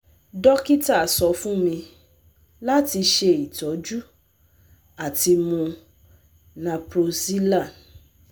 Dokita sọ fun mi lati ṣe itọju ati mu Naproxelan